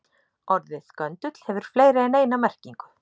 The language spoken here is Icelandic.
Orðið göndull hefur fleiri en eina merkingu.